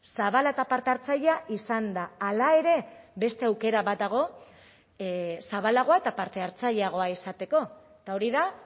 zabala eta parte hartzailea izan da hala ere beste aukera bat dago zabalagoa eta parte hartzaileagoa izateko eta hori da